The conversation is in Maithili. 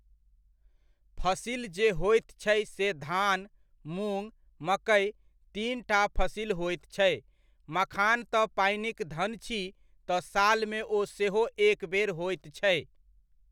फसिल जे होयत छै से धान, मुङ, मकै तीनटा फसिल होइत छै। मखान तऽ पानिक धन छी तऽ सालमे ओ सेहो एकबेर होइत छै।